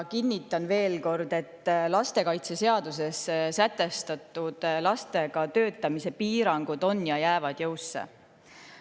Kinnitan veel kord, et lastekaitseseaduses sätestatud lastega töötamise piirangud on jõus ja jäävad jõusse.